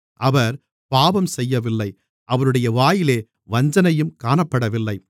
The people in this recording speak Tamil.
அவர் பாவம் செய்யவில்லை அவருடைய வாயிலே வஞ்சனையும் காணப்படவில்லை